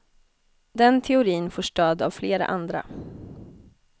Den teorin får stöd av flera andra.